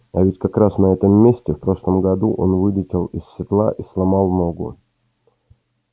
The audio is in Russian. а ведь как раз на этом месте в прошлом году он вылетел из седла и сломал ногу